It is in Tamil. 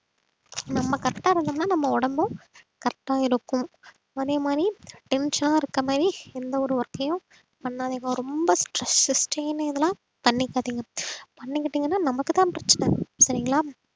நம்ம correct ஆ இருந்தோம்ன்னா நம்ம உடம்பும் correct ஆ இருக்கும் அதே மாதிரி tension ஆ இருக்க மாதிரி எந்த ஒரு work ஐயும் பண்ணாதீங்க ரொம்ப stress strain இதெல்லாம் பண்ணிக்காதீங்க பண்ணிக்கிட்டீங்கன்னா நமக்குத்தான் பிரச்சனை சரிங்களா